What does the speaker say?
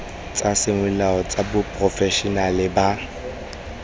tsa semolao tsa baporofešenale ba